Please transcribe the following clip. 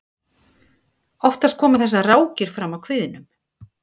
oftast koma þessar rákir fram á kviðnum